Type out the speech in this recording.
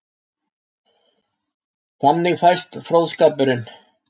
Þannig fæst fróðskapurinn.